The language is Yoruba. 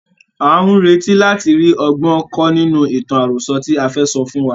À ń retí láti rí ọgbọ́n kọ́ nínú ìtàn àròso tí ẹ fẹ́ sọ fún wa.